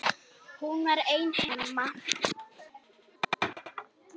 Hún var ein heima.